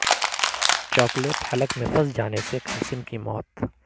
chocolate حلق میں پھنس جانے سے کمسن کی موت